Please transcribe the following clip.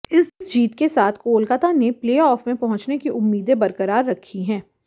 इस जीत के साथ कोलकाता ने प्लेऑफ में पहुंचने की उम्मीदें बरकरार रखी हैं